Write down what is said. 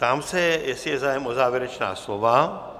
Ptám se, jestli je zájem o závěrečná slova?